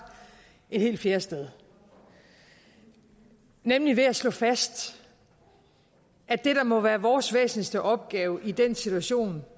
et helt fjerde sted nemlig ved at slå fast at det der må være vores væsentligste opgave i den situation